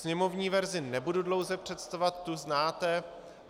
Sněmovní verzi nebudu dlouho představovat, tu znáte.